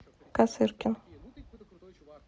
косыркин